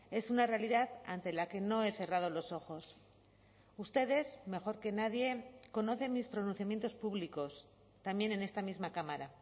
es una realidad ante la que no he cerrado los ojos ustedes mejor que nadie conocen mis pronunciamientos públicos también en esta misma cámara